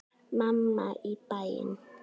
Mamma í bæinn.